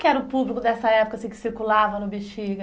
Quem era o público dessa época assim que circulava no Bexiga?